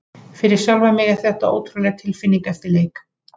Fyrir sjálfan mig var þetta ótrúleg tilfinning eftir leik.